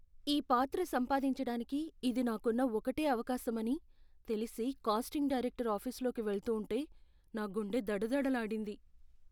ఈ పాత్ర సంపాదించటానికి ఇది నాకున్న ఒకటే అవకాశమని తెలిసి క్యాస్టింగ్ డైరెక్టర్ ఆఫీసులోకి వెళ్తూంటే నా గుండె దడదడలాడింది.